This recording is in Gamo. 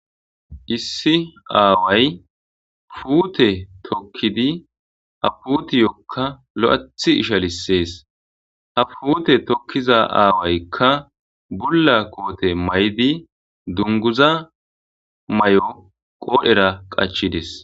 issi aaway puute tokkidi ha putiyokka lo7athi isha lissees ha fuute tokkiza aawaykka bulla koote may7di dunguza may7o qoodhera qachides